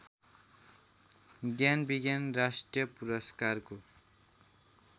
ज्ञानविज्ञान राष्ट्रिय पुरस्कारको